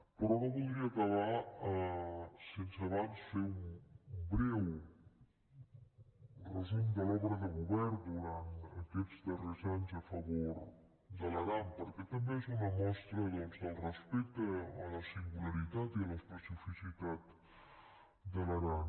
però no voldria acabar sense abans fer un breu resum de l’obra de govern durant aquests darrers anys a favor de l’aran perquè també és una mostra doncs del respecte a la singularitat i a l’especificitat de l’aran